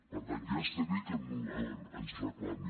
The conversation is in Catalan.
per tant ja està bé que ens reclami